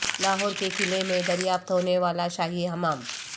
لاہور کے قلعہ میں دریافت ہونے والا شاہی حمام